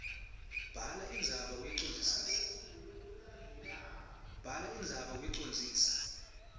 bhala indzaba uyicondzise